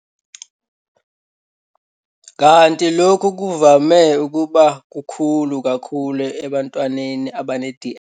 Kanti lokhu kuvame ukuba kukhulu kakhulu ebantwaneni abane-DS.